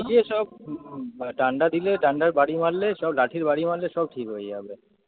নিজে সব ডান্ডা দিলে ডান্ডার বারি মারলে সব লাঠির বারি মারলে সব ঠিক হয়ে যাবে।